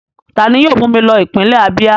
Ta ni yóò mú mi lọ ipinle Abíà?